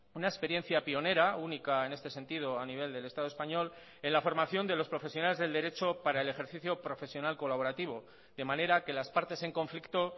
una experiencia pionera única en este sentido a nivel del estado español en la formación de los profesionales del derecho para el ejercicio profesional colaborativo de manera que las partes en conflicto